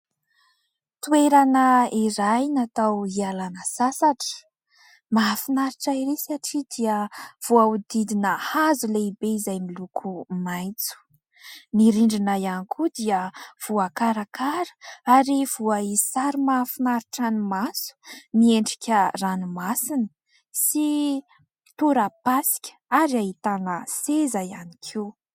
toerana eraynatao hialana sasatra mahafinaritra erisy hatria dia voahodidina hazo lehibe izay niloko maitro nyrindrina ihany koa dia voakarakara ary voa isary mahafinaritra ny maso ny endrika ranomasiny sy torapaska ary hahitana seza ihany koa